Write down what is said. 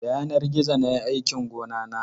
Da yanar gizo na yi aikin gonana.